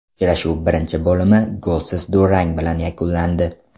Uchrashuv birinchi bo‘limi golsiz durang bilan yakunlandi.